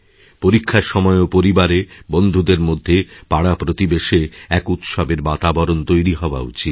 পরীক্ষার সময়ও পরিবারে বন্ধুদের মধ্যে পাড়াপ্রতিবেশে এক উৎসবের বাতাবরণ তৈরিহওয়া উচিত